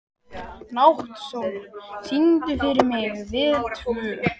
Náttsól, syngdu fyrir mig „Við tvö“.